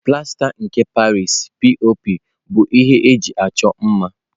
Plasta nke Paris (P.O.P) bụ ihe eji achọ mma.